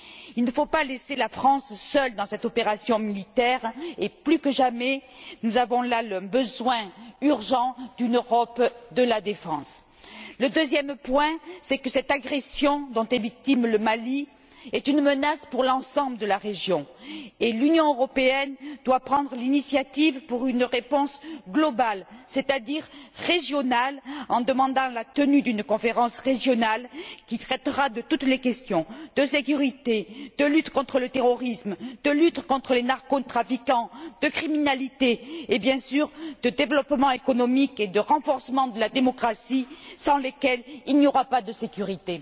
Il ne faut pas laisser la France seule dans cette opération militaire et, plus que jamais, nous avons là besoin, d'urgence, d'une Europe de la défense. Le deuxième point, c'est que cette agression dont est victime le Mali est une menace pour l'ensemble de la région. L'Union européenne doit prendre l'initiative d'une réponse globale, c'est à dire régionale, en demandant la tenue d'une conférence régionale, qui traitera de toutes les questions la sécurité, la lutte contre le terrorisme, la lutte contre les narcotrafiquants, contre la criminalité et, bien sûr, le développement économique et le renforcement de la démocratie, sans lesquels il n'y aura pas de sécurité.